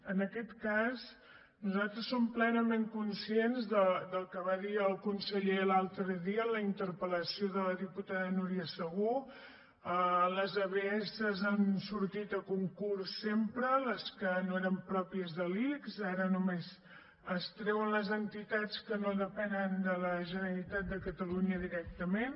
en aquest cas nosaltres som plenament conscients del que va dir el conseller l’altre dia en la interpel·lació de la diputada núria segú les abs han sortit a concurs sempre les que no eren pròpies de l’ics ara només es treuen les entitats que no depenen de la generalitat de catalunya directament